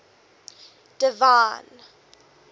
divine